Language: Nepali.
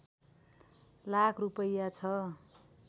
लाख रूपैयाँ छ